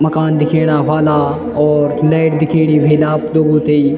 मकान दिखेणा ह्वाला और लाइट दिखेणी ह्वेल आप लोगों थें।